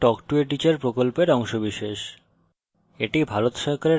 spoken tutorial talk to a teacher প্রকল্পের অংশবিশেষ